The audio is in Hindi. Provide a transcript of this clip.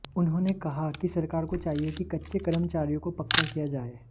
उन्होंनें कहा कि सरकार को चाहिए कि कच्चे कर्मचारियों को पक्का किया जाए